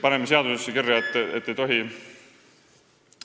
Paneme seadusesse kirja, et väärastuda ei tohi.